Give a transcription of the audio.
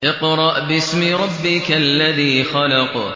اقْرَأْ بِاسْمِ رَبِّكَ الَّذِي خَلَقَ